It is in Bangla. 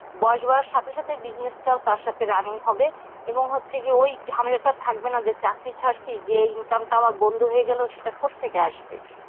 বয়স বাড়ার সাথে সাথে business টাও তার সাথে running হবে. এবং হচ্ছে গিয়ে ওই ঝামেলাটা থাকবে না যে চাকরির ছাড়সি যে income টা আমার বন্ধ হয়ে গেল সেটা কোত্থেকে আসবে?